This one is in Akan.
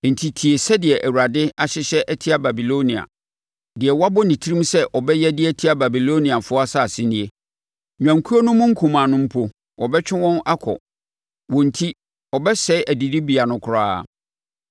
Enti tie deɛ Awurade ahyehyɛ atia Babilonia, deɛ wabɔ ne tirim sɛ ɔbɛyɛ de atia Babiloniafoɔ asase nie: Nnwankuo no mu nkumaa no mpo, wɔbɛtwe wɔn akɔ; wɔn enti ɔbɛsɛe adidibea no koraa.